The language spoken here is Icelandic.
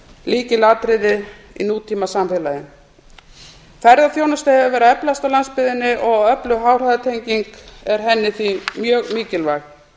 lykilatriði í nútímasamfélagi ferðaþjónusta hefur verið að eflast á landsbyggðinni og öflug háhraðatenging er henni því mjög mikilvæg